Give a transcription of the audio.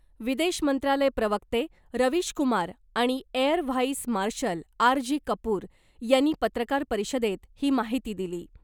विदेश मंत्रालय प्रवक्ते रवीशकुमार आणि air vice marshal R G Kapoor यांनी पत्रकार परिषदेत ही माहिती दिली .